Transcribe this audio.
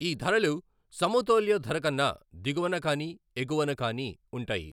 ఈ ధరలు సమతౌల్య ధరకన్న దిగువన కానీ ఎగువన కానీ వుంటాయి.